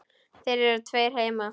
Það eru tveir heimar.